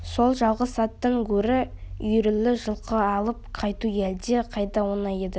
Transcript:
сол жалғыз аттан гөрі үйірлі жылқы алып қайту әлде қайда оңай еді